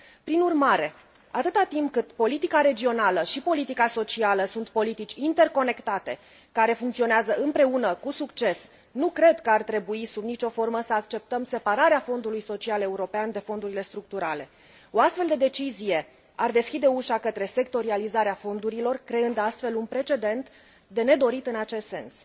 Prin urmare, atâta timp cât politica regională și politica socială sunt politici interconectate, care funcționează împreună cu succes, nu cred că ar trebui sub nicio formă să acceptăm separarea Fondului Social European de fondurile structurale O astfel de decizie ar deschide ușa către sectorializarea fondurilor, creând astfel un precedent de nedorit în acest sens.